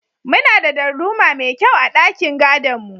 Muna da darduma mai kyau a ɗakin gadon mu.